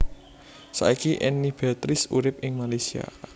Saiki Enny Beatrice urip ing Malaysia